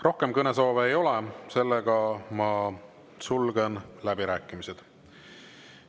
Rohkem kõnesoove ei ole, seega ma sulgen läbirääkimised.